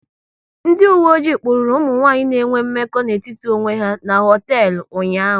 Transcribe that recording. Ndị uwe ojii kpụrụru ụmụ nwanyị na enwe mmekọ n'etiti onwe ha n'hoteelu ụnyaahụ